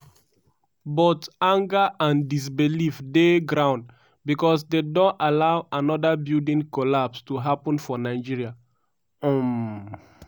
but anger and disbelief dey ground becos dem don allow anoda building collapse to happun for nigeria. um